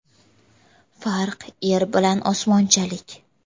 Farq yer bilan osmonchalik.